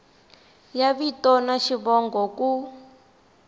ya vito na xivongo ku